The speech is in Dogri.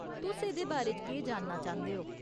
तुस एह्दे बारे च केह् जानना चांह्दे ओ ?